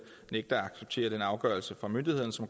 tyve